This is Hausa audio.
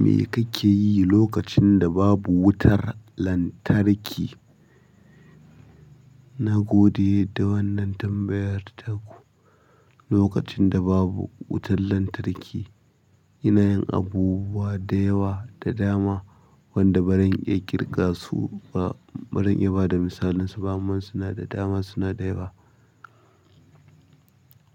Me kake yi lokacin da babu wutar lantarki? Nagode da wannan tambayar taku. Lokacin da babu wutar lantarki, ina yin abubuwa da yawa da dama, wanda baran iya ƙirga su ba, baran iya ba da misalin su. Amman suna da dama suna da yawa.